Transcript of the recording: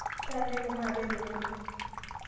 taanyuaki maape tenebo